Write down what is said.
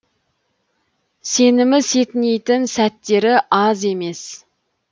сенімі сетінейтін сәттері аз емес